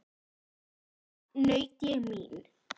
Val og þar naut ég mín.